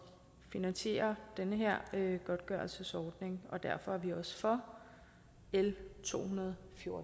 finansierer den her godtgørelsesordning og derfor er vi også for l tohundrede